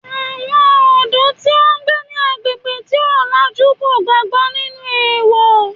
Àwọn ọ̀dọ́ tí ó ń gbé ní agbègbè tí ó làjú kò gbàgbó nínú èèwọ̀